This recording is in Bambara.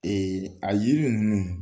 a yiri ninnu.